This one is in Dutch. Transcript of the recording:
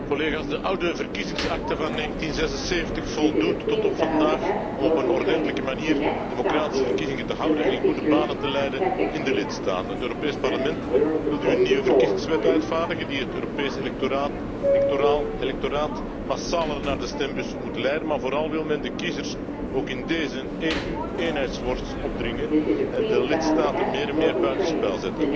De oude verkiezingsakte van 1976 voldoet tot op vandaag om op een ordentelijke manier democratische verkiezingen te houden en in goede banen te leiden in de lidstaten. Het Europees Parlement wil nu een nieuwe verkiezingswet uitvaardigen die het Europese electoraat massaler naar de stembus moet leiden, maar vooral wil men de kiezers ook in dezen EU eenheidsworst opdringen en de lidstaten meer en meer buitenspel zetten.